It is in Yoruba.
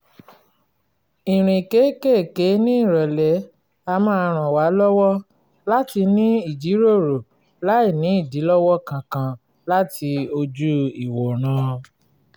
ìrìn kéékèèkéé ní nírọ̀lẹ́ a máa ràn wá lọ́wọ́ láti ní ìjíròrò láìní ìdílọ́wọ́ kankan láti ojú-ìwòran